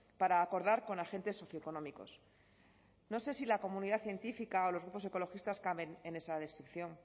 para acordar con agentes socioeconómicos no sé si la comunidad científica o los grupos ecologistas caben en esa descripción